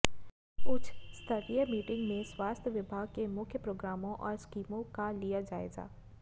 उच्च स्तरीय मीटिंग में स्वास्थ्य विभाग के मुख्य प्रोग्रामों और स्कीमों का लिया जायज़ा